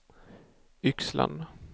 Yxlan